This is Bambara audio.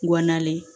Wa nalen